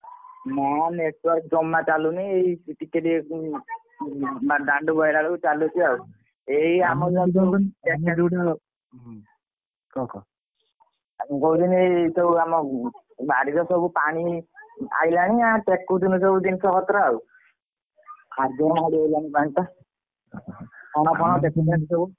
ନା network ଜମା ଚାଲୁନି ଏଇ ଟିକେ ଟିକେ କଣ ମାନେ ଦାଣ୍ଡ ଆଇଲା ବେଳକୁ ଚାଲୁଛି ଆଉ ଏଇ କଣ କହୁଥିଲି କି ଏଇ ଆମ ବାଡିରେ ସବୁ ପାଣି ଆଇଲାଣି ଆଉ ଟେକୁଛନ୍ତି ସବୁ ଜିନିଷ ପତର ଆଉ ଆଜି ମାଡି ଆସିଲାଣି ପାଣି ଟା ମାଡ଼ିଗଲାଣି ପାଣି ଟା ଛଣ ଫଣ ଟେକୁଛନ୍ତି ସବୁ।